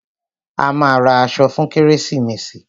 A máa ra aṣọ fún kérésìmesì.